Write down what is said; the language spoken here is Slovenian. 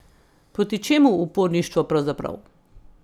Proti čemu uporništvo pravzaprav?